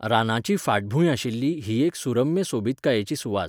रानाची फाटभूंय आशिल्ली ही एक सुरम्य सोबीतकायेची सुवात.